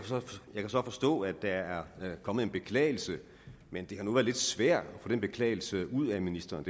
kan så forstå at der er kommet en beklagelse men det har nu været lidt svært at få den beklagelse ud af ministeren